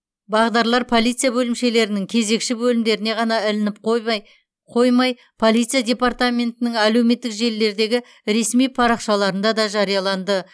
бағдарлар полиция бөлімшелерінің кезекші бөлімдеріне ғана ілініп қойбай қоймай полиция департаментінің әлеуметтік желілердегі ресми парақшаларында да жарияланды